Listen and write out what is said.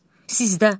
Sizdə.